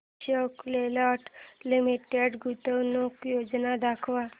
Ashok Leyland Limited गुंतवणूक योजना दाखव